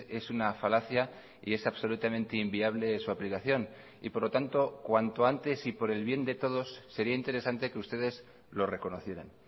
es una falacia y es absolutamente inviable su aplicación y por lo tanto cuanto antes y por el bien de todos sería interesante que ustedes lo reconocieran